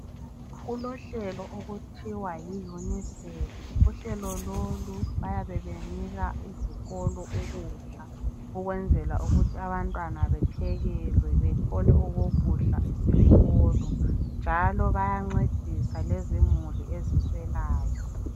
Kulohlelo okuthiwa yi UNISEF. Uhlelo lolu bayabe benika izikolo ukdla ukwenzela ukuthi abantwana bephekelwe bethole okhokudla eskolo, njalo bayancedisa ngezimuli eziswelayo.